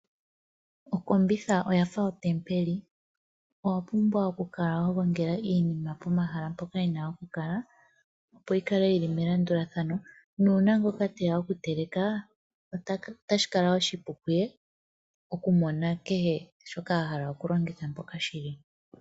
Okombitha oyafa ontempeli niinima oya pumbwa okukala ya gongelwa nawa pomahala, opo iinima yikale melandulathano nuuna ngele puna gumwe teya okuteleka otashi kala oshipu okumona kehe shoka ahala okulongithwa.